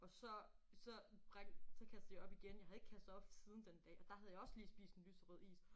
Og så så så kastede jeg op igen jeg havde ikke kastet op siden den dag og der havde jeg også lige spist en lyserød is